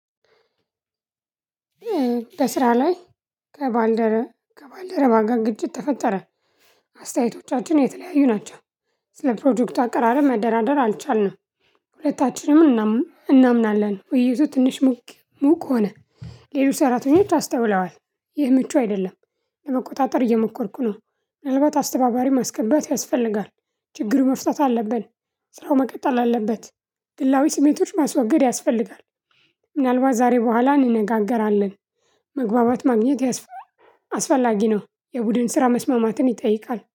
በስራ ላይ ከባልደረ ከባልደረባ ጋር ግጭት ተፈጠረ። አስተያየቶቻችን የተለያዩ ናቸው። ስለ ፕሮጀክቱ አቀራረብ መደራደር አልቻልንም። ሁለታችንም እናም እናምናለን ውይይቱ ትንሽ ሙቅ ሙቅ ሆነ። ሌላው ሰራተኞች አስተውለዋል ይህ ምቹ አይደለም። ለመቆጣጠር እየሞከርኩ ነው። ምናልባት አስተባባሪ ማስገባት ያስፈልጋል። ችግሩ መፍታት አለብን። ስራው መቀጠል አለበት። ግላዊ ስሜቶች ማስወገድ ያስፈልጋል። ምናልባት ዛሬ በኋላ እንነጋገራለን። መግባባት ማግኘት ያስፈ አስፈላጊ ነው። የቡድን ስራ መስማማትን ይጠይቃል